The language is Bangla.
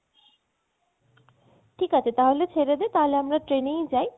ঠিক আছে তাহলে ছেড়ে দে তাহলে আমরা train এই যাই